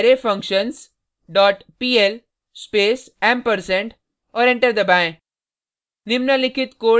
gedit arrayfunctions dot pl space ampersand और enter दबाएँ